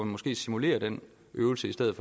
måske simulere den øvelse i stedet